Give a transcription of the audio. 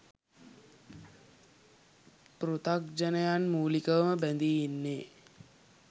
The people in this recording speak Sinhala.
පෘථග්ජනයන් මූලිකවම බැඳී ඉන්නේ